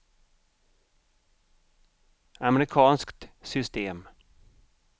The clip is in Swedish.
amerikanskt system